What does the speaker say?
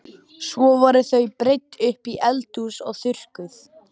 Svo voru þau breidd upp í eldhús og þurrkuð.